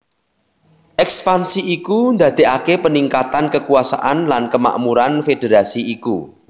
Ekspansi iku ndadekake peningkatan kekuasaan lan kemakmuran federasi iku